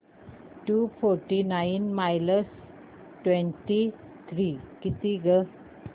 to forty nine minus twenty three किती गं